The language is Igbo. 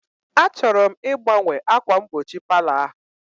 Achọrọ m ịgbanwe ákwà mgbochi palọ ahụ